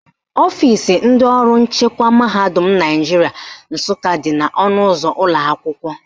Ọfisi ndị ọrụ nchekwa mahadum Naijiria Nsụka dị n' ọnụụzọ ụlọakwụkwọ